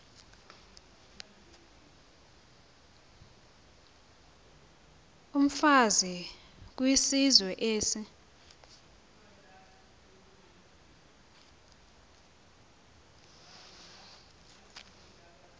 yomfazi kwizizwe ezi